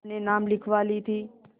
अपने नाम लिखवा ली थी